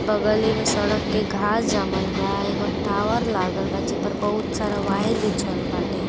बगली में सड़क के घास जामल बा। एगो टावर लागल बा जेपे बहुत सारा वायर बिछल बाटे।